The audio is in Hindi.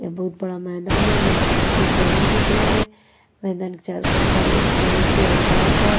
बहुत बड़ा मैदान है मैदान में कुछ जानवर दिख रहे हैं मैदान के चारों तरफ जमीन पे हर घास है।